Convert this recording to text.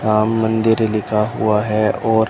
राम मंदिर लिखा हुआ है और--